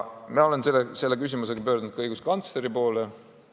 Mina olen selle küsimusega pöördunud ka õiguskantsleri poole.